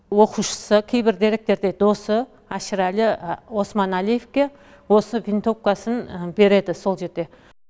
оқушысы кейбір деректерде досы әшірәлі османәлиевке осы винтовкасын береді сол жерде